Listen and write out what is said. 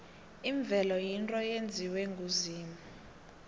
imvelo yinto eyenziwe nguzimu